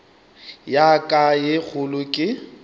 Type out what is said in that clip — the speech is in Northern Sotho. ya ka ye kgolo ke